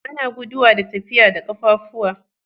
Ana guduwa da tafiya da kaffafuwa.